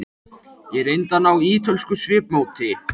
Ég reyndi að ná ítölsku svipmóti.